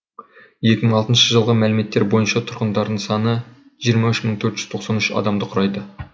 екі мың алтыншы жылғы мәліметтер бойынша тұрғындарының саны жүз жиырма үш мың төрт жүз тоқсан үш адамды құрайды